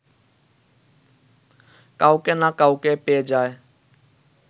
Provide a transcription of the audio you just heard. কাউকে না কাউকে পেয়ে যায়